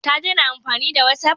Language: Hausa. Ta dena amfani da watsaf?